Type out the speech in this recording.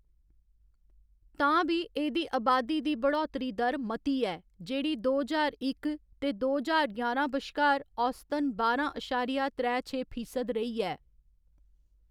तां बी, एह्‌‌‌दी अबादी दी बढ़ौतरी दर मती ऐ जेह्‌‌ड़ी दो ज्हार इक ते दो ज्हार ञारां बश्कार औसतन बारां अशारिया त्रै छे फीसद रेही ऐ।